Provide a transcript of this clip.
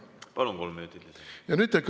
Palun, kolm minutit lisaaega!